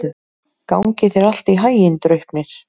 Gangi þér allt í haginn, Draupnir.